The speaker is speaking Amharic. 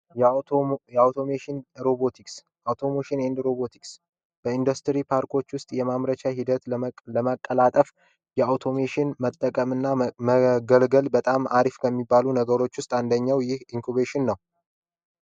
የአውቶሜሽን ሮቦtክስ የአውቶሜሽንand ሮቦtክስ በኢንዱስትሪ ፓርኮች ውስጥ የማምረቻ ሂደት ለማቀላጠፍ የአውቶሞሽን መጠቀምእና መገልገል በጣም አሪፍ ከሚባሉ ነገሮች ውስጥ አንደኘው ይህ ኢንኩቤሽን ነው፡